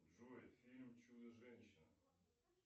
джой фильм чудо женщина